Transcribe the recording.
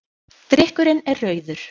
Drykkurinn er rauður.